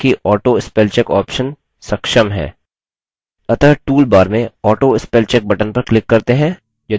अतः toolbar में autospellcheck button पर click करते हैं यदि यह चालू नहीं है